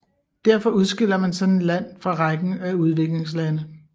Derfor udskiller man sådan et land fra rækken af udviklingslande